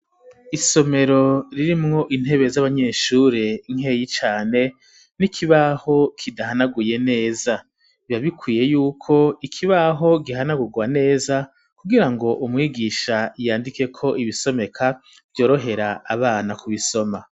Isomero ririmwo intebe z'abanyeshure nkeyi cane n'ikibaho kidahanaguye neza ibabikwiye yuko ikibaho gihanagurwa neza kugira ngo umwigisha yandike ko ibisomeka vyorohera abana kubisoma.